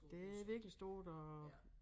Det virkelig stort og